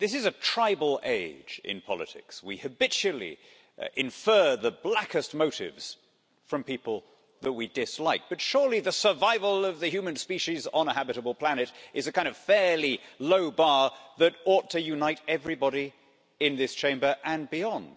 Mr President, this is a tribal age in politics. We habitually infer the blackest of motives from people that we dislike, but surely the survival of the human species on a habitable planet is a kind of fairly low bar that ought to unite everybody in this Chamber and beyond.